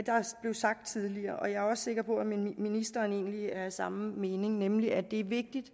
sagt tidligere og jeg er også sikker på at ministeren egentlig er af samme mening nemlig at det er vigtigt